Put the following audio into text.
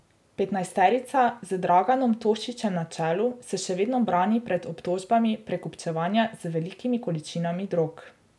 Petnajsterica z Draganom Tošićem na čelu se še vedno brani pred obtožbami prekupčevanja z velikimi količinami drog.